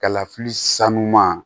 Kalafili sanuya